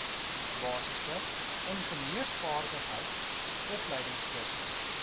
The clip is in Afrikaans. basiese ingenieursvaardigheid opleidingskursus